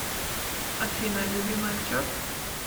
афина любимый актер